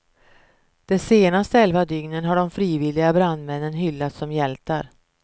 De senaste elva dygnen har de frivilliga brandmännen hyllats som hjältar.